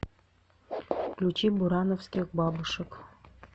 включи бурановских бабушек